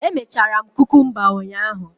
Emechara m kukumba ụnyahụ